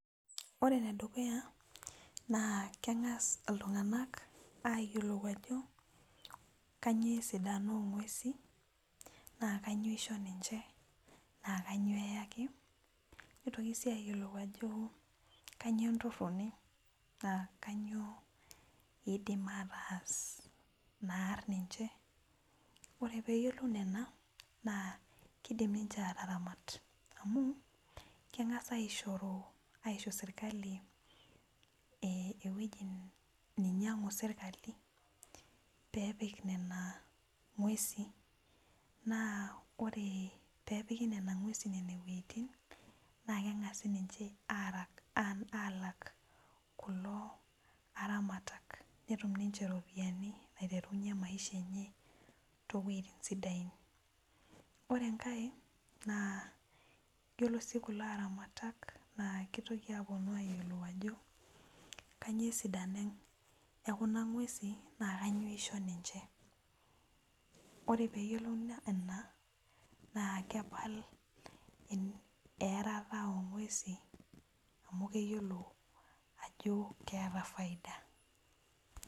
Ore enedukuya na kengas ltunganak ayilou ajo kanyio esidano ongwesin na kanyio eyaki na kanuio isho ninche nitoki si ayiolou ajo kanyio entoroni nakanyio idim ataas pear ninche ore peyiolou nona na kidim ninche ataramat amu kengasa aishoru aisho serkali ewueji nainyangu serkali pepik nonangweusi na ore pepiki nona ngwesi nona wuejitin na kengasai ninche alak kulo aramatak netum ninche iropiyani naiterunye maisha enye towuetin sidain ore si ai na ore si kulo aramatak na kiteru aponu ayilou ajo kanyio esidano ekuna ngwesi na kanyio isho ninche ore peyiolou ina na kepal earata ongwesin amu keyiolo ajo keeta faida.